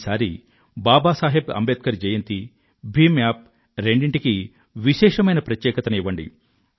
ఈసారి బాబా సాహెబ్ అంబేడ్కర్ జయంతి భీమ్ అప్ రెండింటికీ విశేషమైన ప్రత్యేకతను ఇవ్వండి